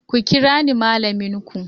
Ku kira ni malaminku!